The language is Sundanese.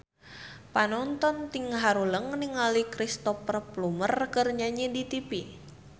Panonton ting haruleng ningali Cristhoper Plumer keur nyanyi di tipi